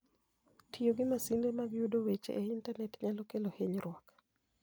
Tiyo gi masinde mag yudo weche e Intanet nyalo kelo hinyruok.